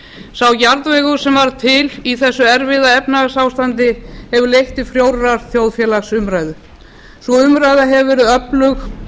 sá jarðvegur sem varð til í þessu erfiða efnahagsástandi hefur leitt til frjórrar þjóðfélagsumræðu sú umræða hefur verið öflug